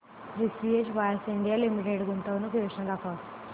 precision wires India limited गुंतवणूक योजना दाखव